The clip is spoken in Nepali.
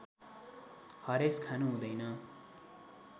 हरेस खानु हुँदैन